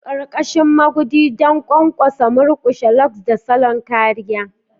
Ƙarƙashin magudi don ƙwanƙwasa, murƙushewa, locs, da salon kariya.